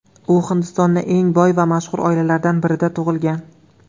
U Hindistonning eng boy va mashhur oilalaridan birida tug‘ilgan.